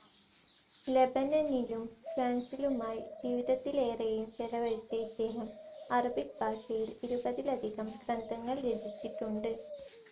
ലെബനനിലും, ഫ്രാൻസിലുമായി ജീവിതത്തിലേറേയും ചിലവഴിച്ച ഇദ്ദേഹം അറബിക് ഭാഷയിൽ ഇരുപതിലധികം ഗ്രന്ഥങ്ങൾ രചിച്ചിട്ടുണ്ട്.